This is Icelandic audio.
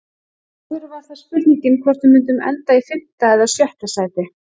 Áður var það spurningin hvort við myndum enda í fimmta eða sjötta sæti.